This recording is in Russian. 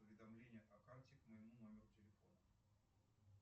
уведомления о карте к моему номеру телефона